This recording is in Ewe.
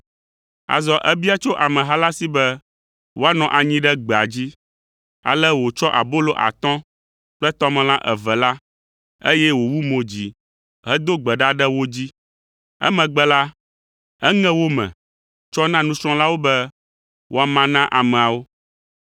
Azɔ ebia tso ameha la si be woanɔ anyi ɖe gbea dzi. Ale wòtsɔ abolo atɔ̃ kple tɔmelã eve la, eye wòwu mo dzi hedo gbe ɖa ɖe wo dzi. Emegbe la, eŋe wo me tsɔ na nusrɔ̃lawo be woama na ameawo.